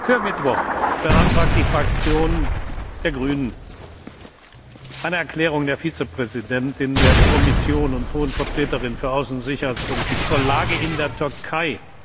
Für Mittwoch beantragt die Fraktion der Grünen eine Erklärung der Vizepräsidentin der Kommission und Hohen Vertreterin für Außen und Sicherheitspolitik zur Lage in der Türkei.